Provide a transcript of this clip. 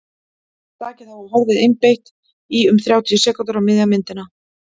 slakið á og horfið einbeitt í um þrjátíu sekúndur á miðja myndina